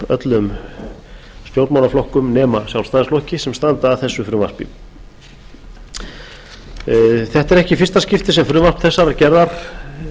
öllum stjórnmálaflokkum nema sjálfstæðisflokki sem standa að þessu frumvarpi þetta er ekki í fyrsta skipti sem frumvarp þessarar gerðar